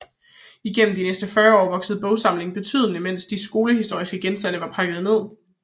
Igennem de næste 40 år voksede bogsamlingen betydeligt imens de skolehistoriske genstande var pakket ned